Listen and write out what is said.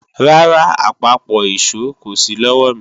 Rárá, àpapọ̀ ìṣó kò sí lọ́wọ̀mi